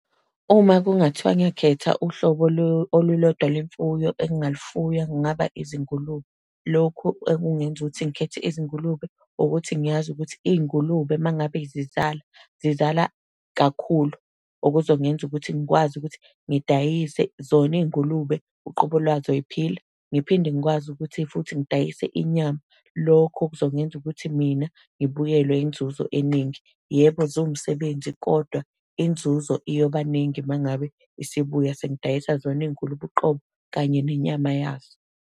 Uma kungathiwa ngiyakhetha uhlobo olulodwa lwemfuyo engilufuya, kungaba izingulube. Lokhu okungenza ukuthi ngikhethe izingulube, ukuthi ngiyazi ukuthi izingulube uma ngabe zizala, zizala kakhulu. Okuzongenza ukuthi ngikwazi ukuthi ngidayise zona iy'ngulube uqobo lwazo ziphila. Ngiphinde ngikwazi ukuthi futhi ngidayise inyama. Lokho kuzongenza ukuthi mina ngibuyelwe inzuzo eningi. Yebo, ziwumsebenzi, kodwa inzuzo iyobaningi uma ngabe isibuya, sengidayisa zona iy'ngulube uqobo, kanye nenyama yazo.